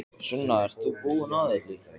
Sunna, ert þú búin að öllu?